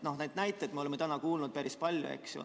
Neid näiteid me oleme täna kuulnud päris palju, eks ju.